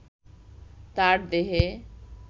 তার দেহে